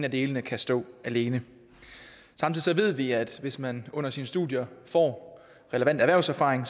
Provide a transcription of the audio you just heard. af delene kan stå alene samtidig ved vi at hvis man under sine studier får relevant erhvervserfaring